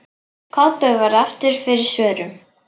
Kobbi varð aftur fyrir svörum.